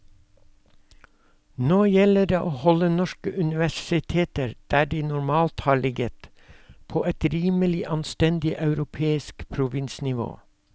Nå gjelder det å holde norske universiteter der de normalt har ligget, på et rimelig anstendig europeisk provinsnivå.